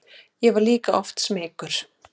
Ég var líka oft smeykur.